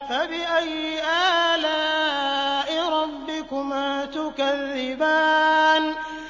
فَبِأَيِّ آلَاءِ رَبِّكُمَا تُكَذِّبَانِ